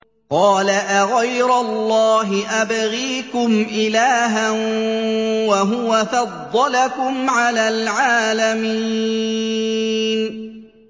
قَالَ أَغَيْرَ اللَّهِ أَبْغِيكُمْ إِلَٰهًا وَهُوَ فَضَّلَكُمْ عَلَى الْعَالَمِينَ